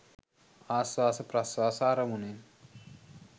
ආශ්වාස ප්‍රශ්වාස අරමුණේ